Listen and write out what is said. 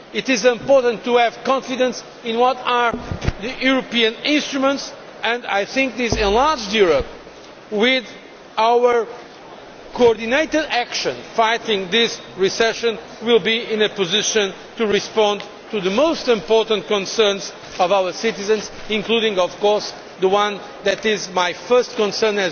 It is important to have confidence in what are the European instruments, and this enlarged Europe, with our coordinated action in fighting this recession, will be in a position to respond to the most important concerns of our citizens, including, of course, the one that is my first concern,